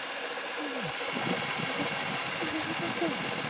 нет я я не такой